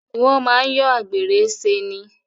Wọ́n máa ń yọ àgbèrè ṣe ni.